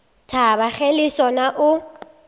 thaba ge le sona o